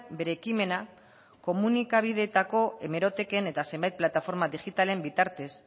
bere ekimena komunikabideetako hemeroteken eta zenbait plataforma digitalen bitartez